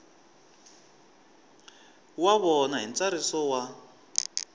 wa vona hi ntsariso wa